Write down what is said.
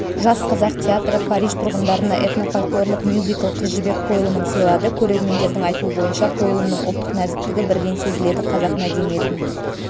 жас қазақ театры париж тұрғындарына этно-фольклорлық мюзикл қыз жібек қойылымын сыйлады көрермендердің айтуы бойынша қойылымның ұлттық нәзіктігі бірден сезіледі қазақ мәдениетін